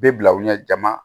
Bɛ bila u ɲɛ jama